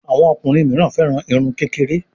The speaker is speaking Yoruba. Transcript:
Àwọn ọkùnrin mí féràn Irun kékeré.